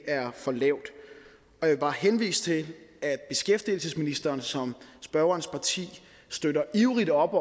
er for lavt jeg vil bare henvise til at beskæftigelsesministeren som spørgerens parti støtter ivrigt op